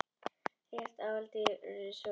Réttarhöld í risavöxnu fjársvikamáli